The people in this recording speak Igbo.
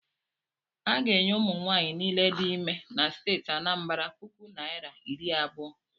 A ga-enye ụmụnwaanyị niile dị ime na steeti Anambara puku naira iri abụọ.